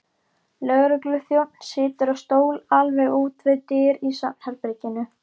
Lögregluþjónn situr á stól alveg úti við dyr í svefnherberginu.